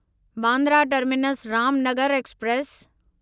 Bandra terminus Ramnagar express